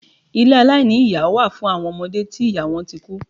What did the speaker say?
Ilé aláìní iyá wà fún awọn ọmọde tí ìyá wọn tí kú.